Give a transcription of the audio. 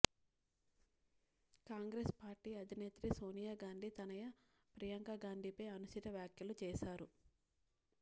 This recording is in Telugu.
కాంగ్రెస్ పార్టీ అధినేత్రి సోనియా గాంధీ తనయ ప్రియాంక గాంధీపై అనుచిత వ్యాఖ్యలు చేశారు